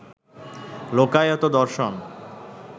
লোকায়ত-দর্শন